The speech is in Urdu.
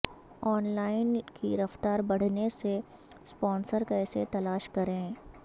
ان لائن کی رفتار بڑھنے سے اسپانسر کیسے تلاش کریں